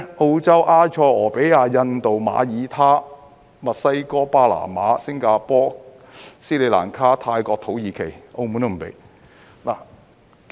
澳洲、埃塞俄比亞、印度、馬爾他、墨西哥、巴拿馬、新加坡、斯里蘭卡、泰國、土耳其，澳門也不准許。